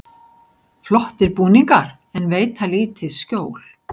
Flottir búningar en veita lítið skjól